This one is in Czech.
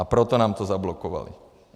A proto nám to zablokovali.